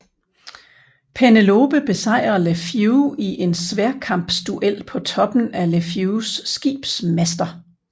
Penelope besejrer LeFwee i en sværdkampsduel på toppen af LeFwees skibs master